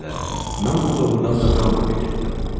Mən onda doğrudan da Qamburqa getdim.